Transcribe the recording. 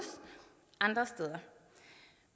andre steder